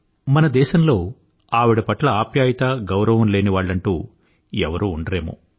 మన దేశంలో ఆమె పట్ల ఆప్యాయత గౌరవము లేని వాళ్ళంటూ ఎవరూ ఉండరేమో